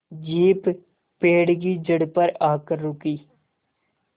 jeep पेड़ की जड़ पर आकर रुकी